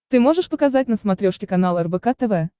ты можешь показать на смотрешке канал рбк тв